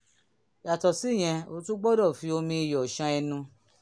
yàtọ̀ síyẹn o tún gbọ́dọ̀ fi omi iyọ̀ ṣan ẹnu